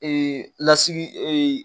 lasigi